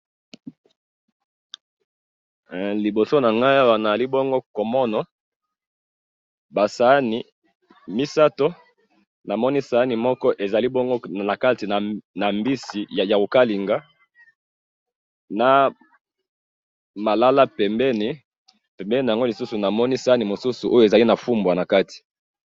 LIboso nanga awa naali bongo komona ba saani misato, namoni sani moko ezali bongo nakati na mbisi yako kalinga, na malala pembeni, pembeni nango lisusu namoni sani mususu oyo ezali na fumbwa na kati